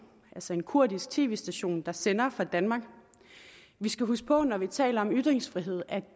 altså en kurdisk tv station der sender fra danmark vi skal huske på når vi taler om ytringsfrihed at